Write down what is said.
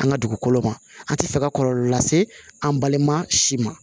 An ka dugukolo ma an tɛ fɛ ka kɔlɔlɔ lase an balima si ma